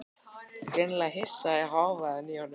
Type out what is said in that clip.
Greinilega hissa á hávaðanum í honum.